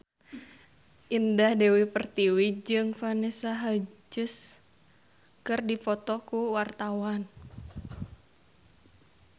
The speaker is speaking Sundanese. Indah Dewi Pertiwi jeung Vanessa Hudgens keur dipoto ku wartawan